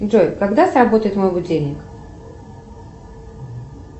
джой когда сработает мой будильник